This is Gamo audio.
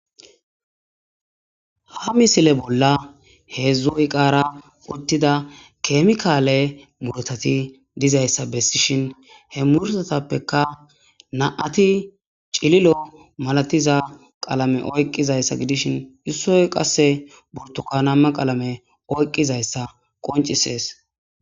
Ha misile bolla heezzu eqara uttida kemikale murutati dizayssa bessishin he murutatappeka na'ati cililo malatiza qalame oykkizayssa gidishin issoy qasse burtukanama qalame oyiqqizayssa qonccises.